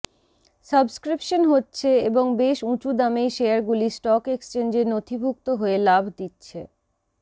subscription হচ্ছে এবং বেশ উঁচু দামেই শেয়ারগুলি স্টক এক্সচেঞ্জে নথিভুক্ত হয়ে লাভ দিচ্ছে